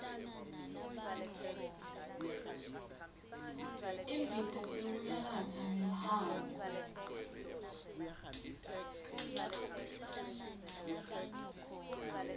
imbita sewuyanatsa ngehhafu